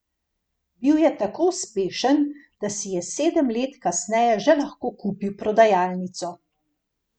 Bil je tako uspešen, da si je sedem let kasneje že lahko kupil prodajalnico.